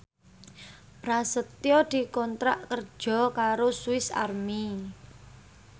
Prasetyo dikontrak kerja karo Swis Army